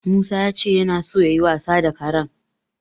Musa ya ce yana so yayi wasa da karen.